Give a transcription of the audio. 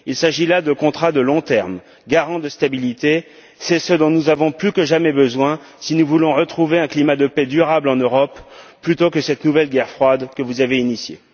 Il s'agit là de contrats de long terme, garants de stabilité. C'est ce dont nous avons plus que jamais besoin si nous voulons retrouver un climat de paix durable en Europe, plutôt que cette nouvelle guerre froide que vous avez initiée.